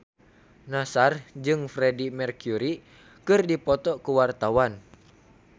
Nassar jeung Freedie Mercury keur dipoto ku wartawan